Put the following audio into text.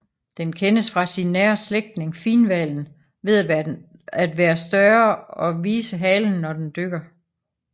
Den kendes fra sin nære slægtning finhvalen ved at være større og vise halen når den dykker